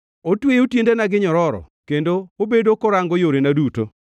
Otweyo tiendena gi nyororo; kendo obedo korango yorena duto.’